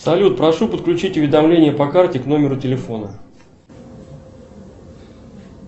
салют прошу подключить уведомление по карте к номеру телефона